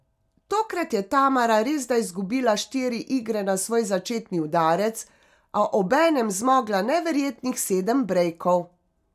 Tokrat je Tamara resda izgubila štiri igre na svoj začetni udarec, a obenem zmogla neverjetnih sedem brejkov.